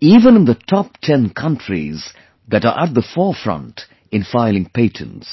even in the top 10 countries that are at the forefront in filing patents